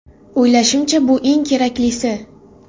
O‘ylashimcha bu eng keraklisi.